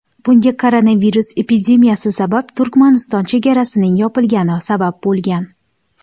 Bunga koronavirus epidemiyasi sabab Turkmaniston chegarasining yopilgani sabab bo‘lgan.